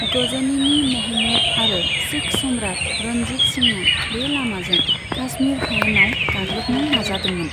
गजनीनि महमूद आरो सिख सम्राट रणजीत सिंहआ बे लामाजों काश्मीर हायेनाव गाग्लोबनो नाजादोंमोन।